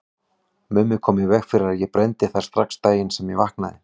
Mummi kom í veg fyrir að ég brenndi þær strax daginn sem ég vaknaði.